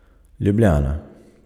Ljubljana.